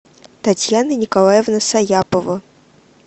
татьяна николаевна саяпова